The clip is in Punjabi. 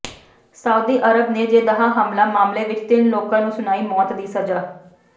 ਸਾਊਦੀ ਅਰਬ ਨੇ ਜੇਦਾਹ ਹਮਲਾ ਮਾਮਲੇ ਵਿਚ ਤਿੰਨ ਲੋਕਾਂ ਨੂੰ ਸੁਣਾਈ ਮੌਤ ਦੀ ਸਜ਼ਾ